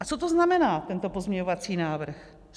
- A co to znamená, tento pozměňovací návrh?